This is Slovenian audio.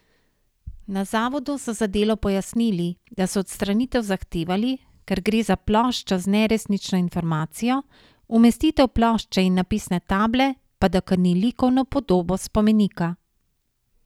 Na zavodu so za Delo pojasnili, da so odstranitev zahtevali, ker gre za ploščo z neresnično informacijo, umestitev plošče in napisne table pa da krni likovno podobo spomenika.